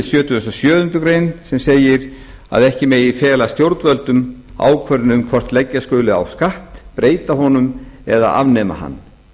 sjötugasta og sjöundu greinar sem segir að ekki megi fela stjórnvöldum ákvörðun um hvort leggja skuli á skatt breyta honum eða afnema hann